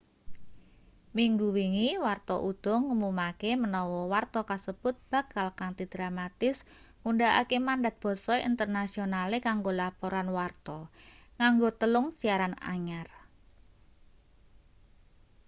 minggu wingi warta uda ngumumake menawa warta kasebut bakal kanthi dramatis ngundhakake mandat basa internasionale kanggo laporan warta nganggo telung siaran anyar